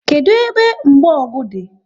Kedụ ebe mgbogu dị?